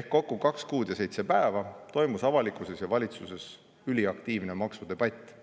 ehk kokku kaks kuud ja seitse päeva toimus avalikkuses ja valitsuses üliaktiivne maksudebatt.